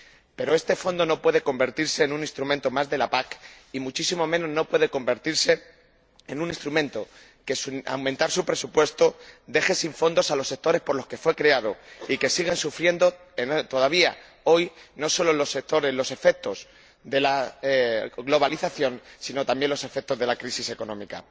Pero este Fondo no puede convertirse en un instrumento más de la PAC, ni muchísimo menos puede convertirse en un instrumento que, al aumentar su presupuesto, deje sin fondos a los sectores por los que fue creado y que estos sigan sufriendo, todavía hoy, no solo los efectos de la globalización sino también los efectos de la crisis económica.